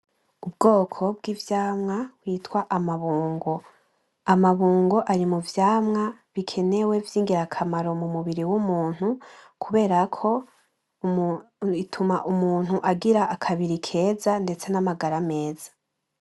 Ubwoko bw'ivyamwa vyitwa amabongo, amabongo ari muvyamwa bikenewe vyingirakamaro mumubiri w'umuntu kuberako bituma umuntu agira akabiri keza ndetse n'amagara meza.